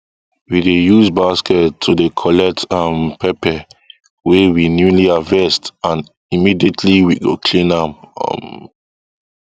we dey use basket to dey collect um pepper wey we newly harvest and immediately we go clean am um